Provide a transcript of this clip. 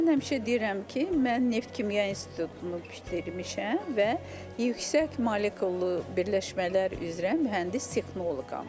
Mən həmişə deyirəm ki, mən Neftkimya İnstitutunu bitirmişəm və yüksək molekullu birləşmələr üzrə mühəndis-texnoloqam.